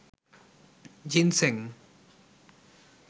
ginseng